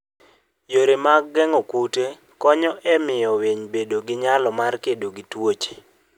Yore mag geng'o kute konyo e miyo winy bedo gi nyalo mar kedo gi tuoche.